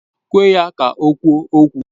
Kwe ka ha kwuo okwu!